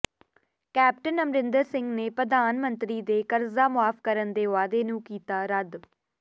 captain Amarinder ਨੇ ਪ੍ਰਧਾਨ ਮੰਤਰੀ ਦੇ ਕਰਜ਼ਾ ਮੁਆਫ ਕਰਨ ਦੇ ਵਾਅਦੇ ਨੂੰ ਕੀਤਾ ਰੱਦ